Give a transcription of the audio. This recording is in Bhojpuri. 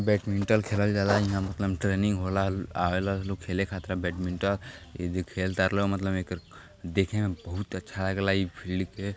बैटमिंटल खेलल जाला। इहां मतलम ट्रेनिंग होला। ल् आवेला लो खेले खातिर आ बैडमिंट इ खेल तार लो मतलम एकर देखे में बहुत अच्छा लगेला इ फील्ड के।